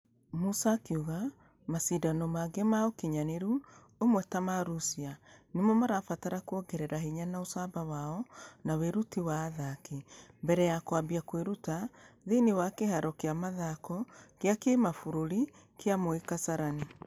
Musa akĩuga mashidano mangĩ ma ũkinyanĩru ũmwe ta ma russia nĩmo marabatara kuongerera hinya na ucamba wao na wĩruti wa athaki. Mbere ya kũambia kwĩruta....thĩinĩ wa kĩharo gĩa mĩthako gĩa kĩmabũrũri gĩa moi kasarani.